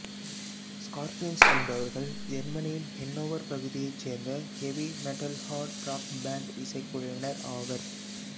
Scorpions என்பவர்கள் ஜெர்மனியின் Hannover பகுதியைச் சேர்ந்த ஹெவி மெட்டல்ஹார்டு ராக் பேண்ட் இசைக்குழுவினர் ஆவர்